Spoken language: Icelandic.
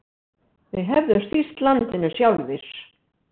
Við hefðum stýrt landinu sjálfir.